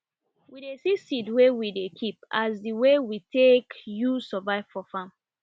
we dey see seed wey we dey keep as di way we take use survive for farm